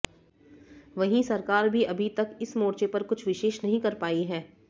वहीं सरकार भी अभी तक इस मोर्चे पर कुछ विशेष नहीं कर पाई है